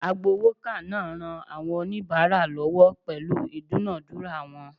Agbowoka naa ran awon onibara lowo pelu idunadura won